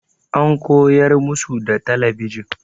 An koyar musu da talabijin.